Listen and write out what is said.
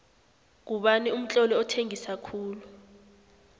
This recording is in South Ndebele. ngubani umtloli othengisa khulu